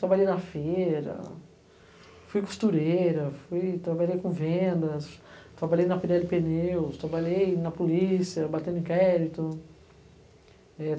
Trabalhei na feira, fui costureira, trabalhei com vendas, trabalhei na pedra de pneus, trabalhei na polícia, batendo inquérito. É